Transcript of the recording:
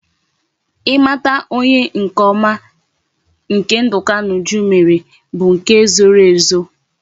I mata onye nke oma nke nduka na uju mere bu nke e zoro ezo